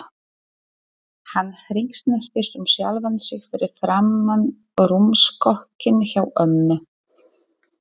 Hann hringsnerist um sjálfan sig fyrir framan rúmstokkinn hjá ömmu.